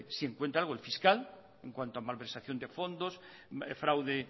si encuentra algo el fiscal en cuanto a malversación de fondos fraude